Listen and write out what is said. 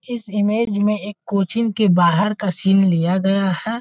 इस इमेज में एक कोचिंग के बाहर का सीन लिया गया है।